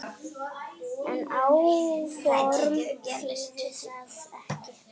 En áform þýðir það ekki.